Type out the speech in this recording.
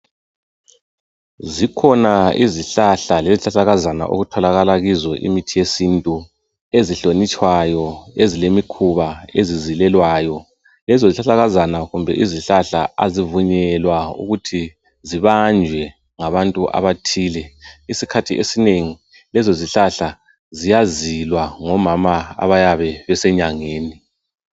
Zikhona izihlahla lezihlahlakazana okutholakala kizo imithi yesintu ezihlonitshwayo ezilemikhuba ezizilelwayo lezo zihlahlakazana kumbe izihlahla azivunyelwa ukuthi zibanjwe ngabantu abathile isikhathi esinengi lezo zihlahla ziyazilwa ngomama abayabe besenyangeni